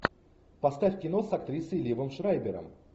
поставь кино с актрисой ливом шрайбером